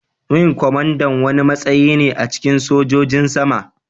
Wing kwamandan wani matsayi ne a cikin sojojin sama.